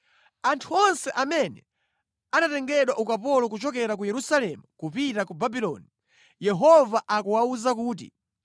Anthu onse amene anatengedwa ukapolo kuchokera ku Yerusalemu kupita ku Babuloni, Yehova akuwawuza kuti,